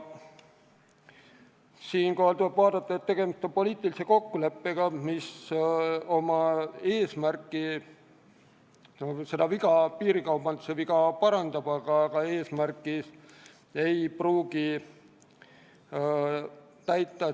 Eelnõu puhul on paraku tegemist poliitilise kokkuleppega, mis oma eesmärki piirikaubandus lõpetada ei pruugi täita.